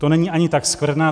To není ani tak skvrna.